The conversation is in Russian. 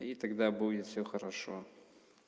и тогда будет всё хорошо